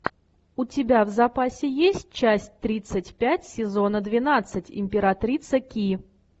у тебя в запасе есть часть тридцать пять сезона двенадцать императрица ки